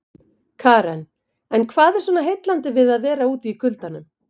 Karen: En hvað er svona heillandi við að vera úti í kuldanum?